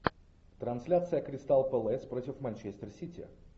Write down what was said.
трансляция кристал пэлас против манчестер сити